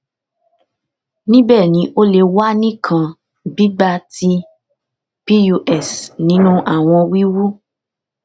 nibẹ ni o le wa ni kan gbigba ti pus ninu awọn wiwu